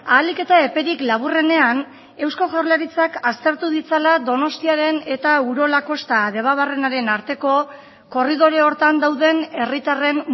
ahalik eta eperik laburrenean eusko jaurlaritzak aztertu ditzala donostiaren eta urola kosta debabarrenaren arteko korridore horretan dauden herritarren